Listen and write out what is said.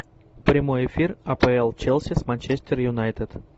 прямой эфир апл челси с манчестер юнайтед